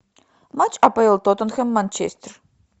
матч апл тоттенхэм манчестер